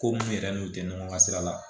Ko mun yɛrɛ n'u tɛ ɲɔgɔn ka sira la